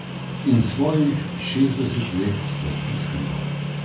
In svojih šestdeset let sploh ne skriva.